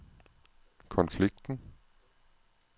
konflikten